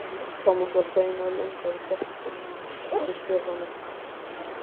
Thomas var feginn að lenda í greftrinum með Stefáni.